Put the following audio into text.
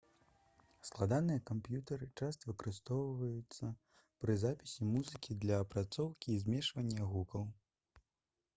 складаныя камп'ютары часта выкарыстоўваюцца пры запісе музыкі для апрацоўкі і змешвання гукаў